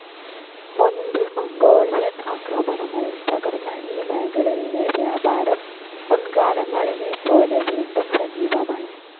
മുൻപ് മംഗോളിയൻ ആക്രമണങ്ങളിൽ തകർന്ന ഈ മേഖലയിലെ വ്യാപാരം മുൻകാലങ്ങളിലെപോലെ വീണ്ടും സജീവമായി.